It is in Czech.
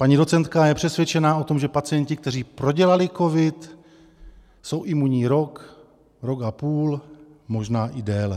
Paní docentka je přesvědčená o tom, že pacienti, kteří prodělali covid, jsou imunní rok, rok a půl, možná i déle.